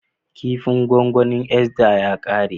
Kipin gwangwanin Esther ya kare.